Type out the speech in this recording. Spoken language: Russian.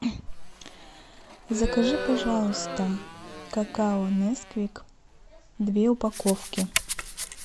закажи пожалуйста какао несквик две упаковки